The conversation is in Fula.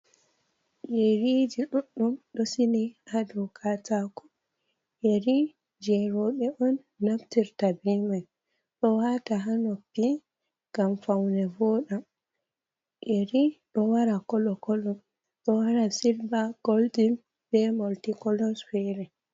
Yeriji duɗɗum ɗo sili haa dou katako, yeri jei rowɓe on naftirta be man, ɗo waata haa noppi ngam faune vooda. Yeri ɗo wara kolo-kolo, ɗo wara silver, golden, be multi-colours fere.